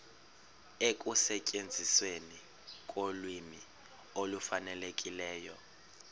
ekusetyenzisweni kolwimi olufanelekileyo